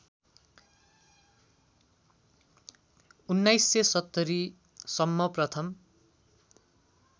१९७० सम्म प्रथम